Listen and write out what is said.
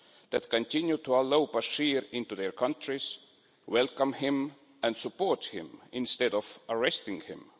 that continue to allow Bashir into their countries, welcome him and support him, instead of arresting him.